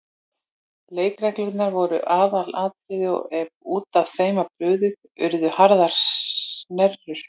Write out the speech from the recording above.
Leikreglurnar voru aðalatriði og ef út af þeim var brugðið urðu harðar snerrur.